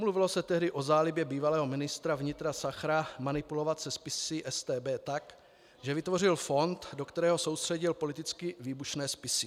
Mluvilo se tehdy o zálibě bývalého ministra vnitra Sachra manipulovat se spisy StB tak, že vytvořil fond, do kterého soustředil politicky výbušné spisy.